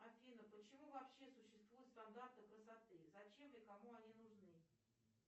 афина почему вообще существуют стандарты красоты зачем и кому они нужны